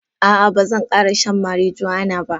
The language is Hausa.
Aa Bazan kara shan marijuana ba.